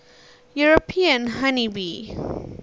european honey bee